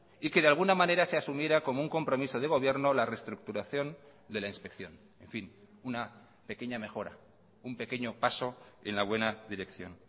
y que de alguna manera se asumiera como un compromiso de gobierno la reestructuración de la inspección en fin una pequeña mejora un pequeño paso en la buena dirección